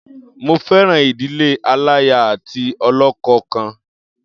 Mo fẹ́ràn ìdílé aláya àti ọlọ́kọ kan.